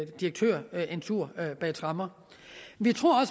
direktør en tur bag tremmer vi tror